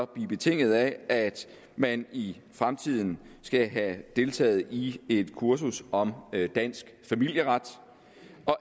blive betinget af at man i fremtiden skal have deltaget i et kursus om dansk familieret